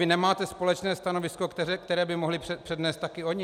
Vy nemáte společné stanovisko, které by mohli přednést taky oni?